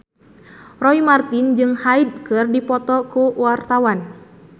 Roy Marten jeung Hyde keur dipoto ku wartawan